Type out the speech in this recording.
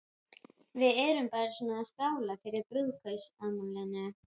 sagði hún, og andlit sem maður bara ímyndar sér